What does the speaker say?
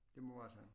Det må være sådan